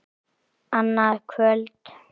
Annað kvöld!